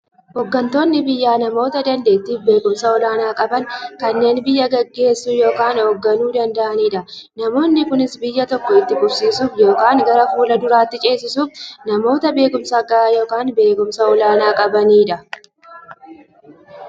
Hooggantoonni biyyaa namoota daanteettiifi beekumsa olaanaa qaban, kanneen biyya gaggeessuu yookiin hoogganuu danda'aniidha. Namoonni kunis, biyya tokko itti fufsiisuuf yookiin gara fuulduraatti ceesisuuf, namoota beekumsa gahaa yookiin beekumsa olaanaa qabaniidha.